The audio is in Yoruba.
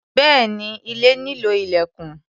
Bẹ́ẹ̀ni, ilé nílò ilẹ̀kùn.